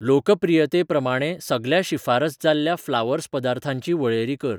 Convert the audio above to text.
लोकप्रीयते प्रमाणें सगल्या शिफारस जाल्ल्या फ्लावर्स पदार्थांची वळेरी कर